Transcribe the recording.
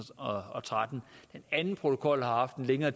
og tretten den anden protokol har haft en længere